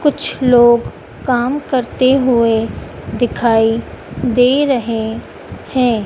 कुछ लोग काम करते हुएं दिखाई दे रहें हैं।